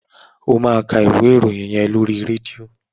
Ó máa ka ìwé ìròyìn yẹn lóri rédíò.